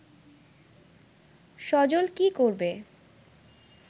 সজল কী করবে